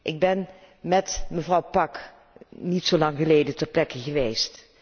Ik ben met mevrouw Pack niet zo lang geleden ter plekke geweest.